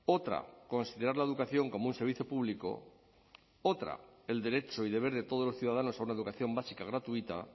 otra considerar la educación como un servicio público otra el derecho y deber de todos los ciudadanos a una educación básica gratuita